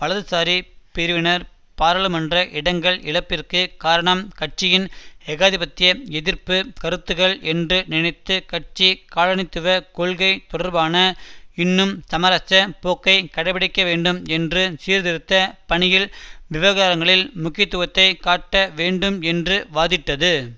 வலதுசாரி பிரிவினர் பாராளுமன்ற இடங்கள் இழப்பிற்குக் காரணம் கட்சியின் ஏகாதிபத்திய எதிர்ப்பு கருத்துக்கள் என்று நினைத்து கட்சி காலனித்துவ கொள்கை தொடர்பான இன்னும் சமரச போக்கை கடைப்பிடிக்கவேண்டும் என்று சீர்திருத்த பணியின் விவரங்களில் முக்கியத்துவத்தை காட்ட வேண்டும் என்று வாதிட்டது